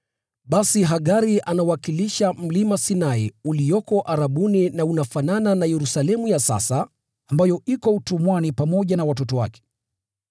Basi Hagari anawakilisha Mlima Sinai ulioko Arabuni, na unafanana na Yerusalemu ya sasa ambayo iko utumwani pamoja na watoto wake.